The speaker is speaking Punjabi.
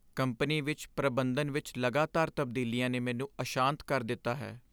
ਕੰਪਨੀ ਵਿੱਚ ਪ੍ਰਬੰਧਨ ਵਿੱਚ ਲਗਾਤਾਰ ਤਬਦੀਲੀਆਂ ਨੇ ਮੈਨੂੰ ਅਸ਼ਾਂਤ ਕਰ ਦਿੱਤਾ ਹੈ।